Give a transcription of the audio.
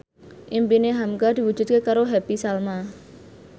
impine hamka diwujudke karo Happy Salma